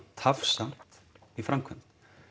tafsamt í framkvæmd